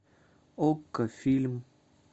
окко фильм